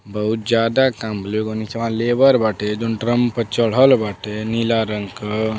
बहोत जादा काम एगो निचवाँ लेबर बाटे जउन ड्रम पर चढल बाटे नीला रंग क।